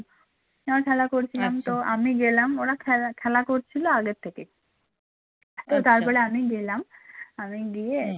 যেমন খেলা করছিলাম তো আমি আমি গেলাম ওরা খেলা খেলা করছিল আগে থেকেই তো তারপরে আমি গেলাম, আমি গিয়ে